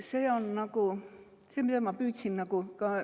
See läks selle kiituse tõttu üle.